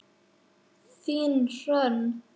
Þín, Hrönn.